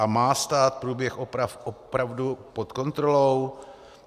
A má stát průběh oprav opravdu pod kontrolou?